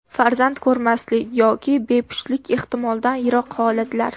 Farzand ko‘rmaslik yoki bepushtlik ehtimoldan yiroq holatlar.